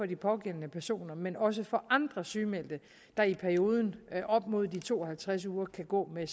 de pågældende personer men også for andre sygemeldte der i perioden op mod de to og halvtreds uger kan gå med